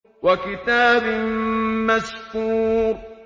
وَكِتَابٍ مَّسْطُورٍ